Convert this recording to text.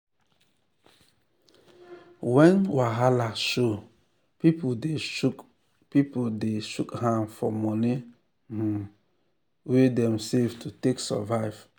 when wahala show people dey shook people dey shook hand for moni um wey dem save to take survive.